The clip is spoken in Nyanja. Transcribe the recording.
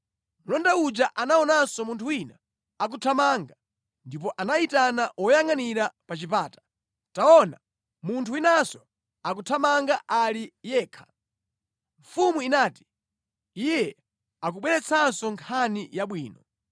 Mlonda uja anaonanso munthu wina akuthamanga, ndipo anayitana woyangʼanira pa chipata, “Taona, munthu winanso akuthamanga ali yekha!” Mfumu inati, “Iye akubweretsanso nkhani yabwino.”